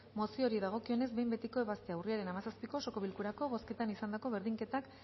mozioari dagokionez behin betiko ebaztea urriaren hamazazpiko osoko bilkurako bozketan izandako berdinketak